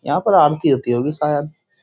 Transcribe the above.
यहाँ पर आरती होती होगी शायद।